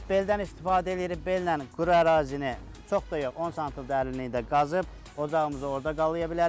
Beldən istifadə eləyirik, bellə quru ərazini çox da yox, 10 sm dərinliyində qazıb ocağımızı orda qalaya bilərik.